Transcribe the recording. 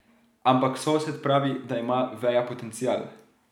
Ampak sosed pravi, da ima veja potencial.